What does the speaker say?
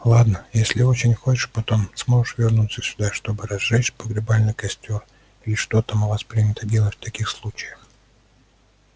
ладно если очень хочешь потом сможешь вернуться сюда чтобы разжечь погребальный костёр или что там у вас принято делать в таких случаях